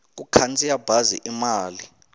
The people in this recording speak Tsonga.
ku khandziya bazi i mali